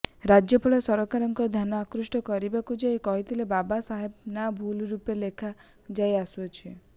ରାଜ୍ୟପାଳ ସରକାରଙ୍କ ଧ୍ୟାନ ଆକୃଷ୍ଟ କରିବାକୁ ଯାଇ କହିଥିଲେ ବାବା ସାହେବଙ୍କ ନାଁ ଭୁଲ ରୂପେ ଲେଖା ଯାଇଆସୁଅଛି